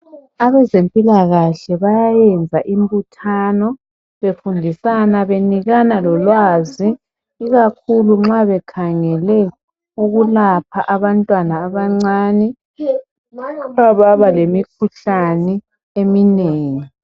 Abezempilakahle bayayenza imbuthano befundisana benikana lolwazi ikakhulu nxa bekhangele ukulapha abantwana abancani ababalemikhuhlane eminengi